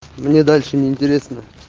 мне дальше не интересно